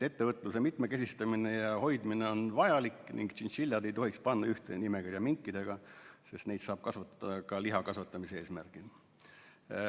Ettevõtluse mitmekesistamine ja hoidmine on vajalik ning tšintšiljasid ei tohiks panna ühte nimekirja minkidega, sest neid saab kasvatada ka lihakasvatamise eesmärgil.